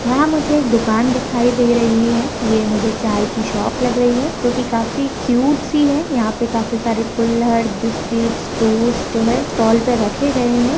यहाँ मुझे एक दुकान दिखाई दे रही है। ये मुझे चाय की शॉप लग रही है जोकि काफी क्यूट सी है यहाँ पे काफी सारे कुल्हड़ बिस्किट्स टोस्ट जो है स्टॉल पे रखे गए हैं।